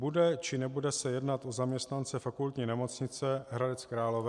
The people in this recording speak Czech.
Bude, či nebude se jednat o zaměstnance Fakultní nemocnice Hradec Králové?